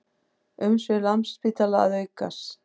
Umsvif Landspítala að aukast